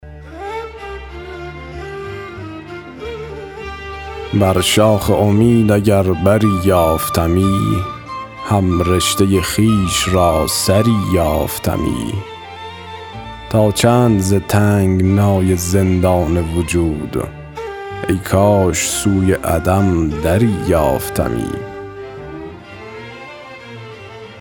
بر شاخ امید اگر بری یافتمی هم رشته خویش را سری یافتمی تا چند ز تنگنای زندان وجود ای کاش سوی عدم دری یافتمی